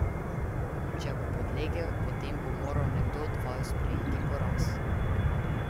Če bo podlegel, potem bo moral nekdo od vaju sprejeti poraz.